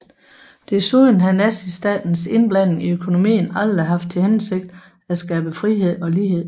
Desuden har Nazistatens indblanding i økonomien aldrig haft til hensigt at skabe frihed og lighed